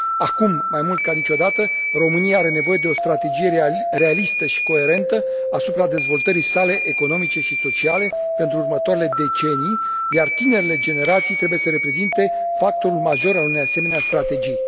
Acum, mai mult ca niciodată, România are nevoie de o strategie realistă și coerentă asupra dezvoltării sale economice și sociale pentru următoarele decenii, iar tinerele generații trebuie să reprezinte factorul major al unei asemenea strategii.